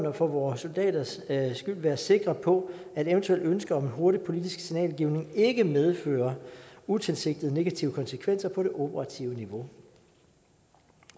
og for vores soldaters skyld være sikre på at et eventuelt ønske om hurtig politisk signalgivning ikke medfører utilsigtede negative konsekvenser på det operative niveau